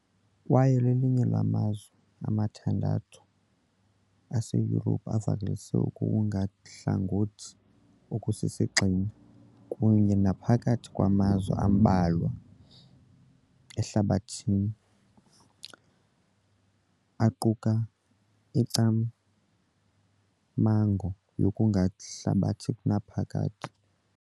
kwaye lelinye lamazwe amathandathu aseYurophu avakalise ukungathathi hlangothi okusisigxina , kunye naphakathi kwamazwe ambalwa ehlabathini aquka ingcamango yokungahlabathi ngonaphakade.